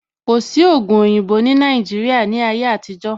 Kò sí ògùn oyinbo ní Nàìjíría ní ayé àtijó